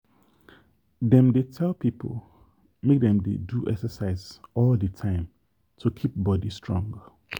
dem dey tell people make dem dey do exercise all the time to keep body strong.